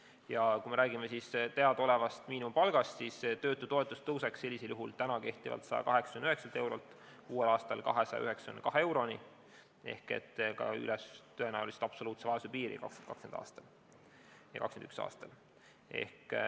Ja kui me räägime teadaolevast miinimumpalgast, siis töötutoetus tõuseks sellisel juhul kehtivalt 189 eurolt uuel aastal 292 euroni ehk tõenäoliselt üle absoluutse vaesuse piiri 2020. ja 2021. aastal.